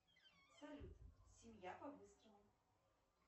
салют семья по быстрому